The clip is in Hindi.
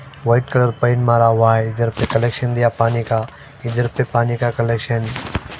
वाइट कलर पेंट मारा हुआ है इधर पे कलेक्शन दिया हुआ है पानी का इधर पे कलेक्शन --